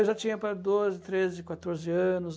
Eu já tinha doze, treze, quatorze anos.